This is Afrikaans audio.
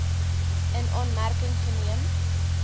in aanmerking geneem